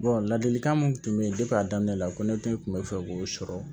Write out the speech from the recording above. ladilikan mun tun bɛ yen a daminɛ la ko ne tɛ n kun bɛ fɛ k'o sɔrɔ